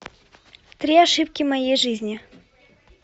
три ошибки моей жизни